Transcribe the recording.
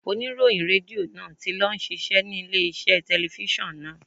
Oníròyìn Rédíò náà ti lọ ń ṣiṣẹ́ ní ilé iṣẹ́ telifíṣàn náà.